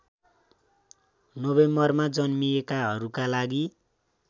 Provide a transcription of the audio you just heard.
नोभेम्बरमा जन्मिएकाहरूका लागि